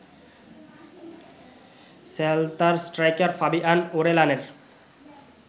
সেল্তার striker Fabian ওরেলানের